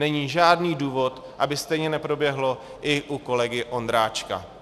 Není žádný důvod, aby stejně neproběhlo i u kolegy Ondráčka.